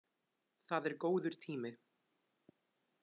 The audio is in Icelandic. Það er góður tími.